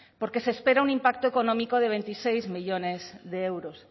porque se espera un impacto económico de veintiséis millónes de euros